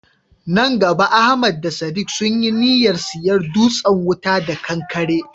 Nan gaba Ahmad da Sadiq sun yi niyyar siyan dutsen wuta da kankare.